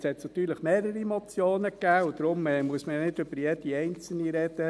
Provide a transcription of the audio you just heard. Jetzt gab es natürlich mehrere Motionen, und deshalb muss man ja nicht über jede einzelne sprechen.